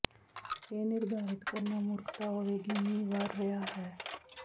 ਇਹ ਨਿਰਧਾਰਤ ਕਰਨਾ ਮੂਰਖਤਾ ਹੋਵੇਗੀ ਮੀਂਹ ਵਰ੍ਹ ਰਿਹਾ ਹੈ